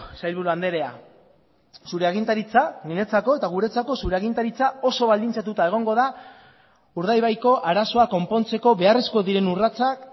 sailburu andrea zure agintaritza niretzako eta guretzako zure agintaritza oso baldintzatuta egongo da urdaibaiko arazoa konpontzeko beharrezkoak diren urratsak